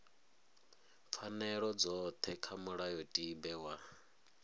pfanelo dzothe kha mulayotibe wa